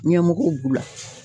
Ɲɛmɔgɔw b'u la.